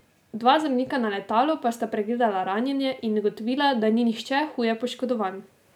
Dva zdravnika na letalu pa sta pregledala ranjene in ugotovila, da ni nihče huje poškodovan.